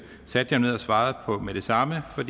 satte jeg mig ned og svarede på med det samme for